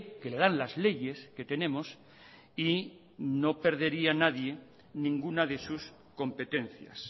que le dan las leyes que tenemos y no perdería nadie ninguna de sus competencias